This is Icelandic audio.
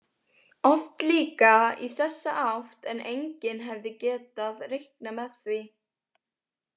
Oft líka í þessa átt en enginn hefði getað reiknað með því.